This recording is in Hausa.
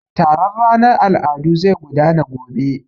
Taron ranar al'adu zai gudana gobe.